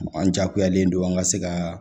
An jakuyalen don an ka se ka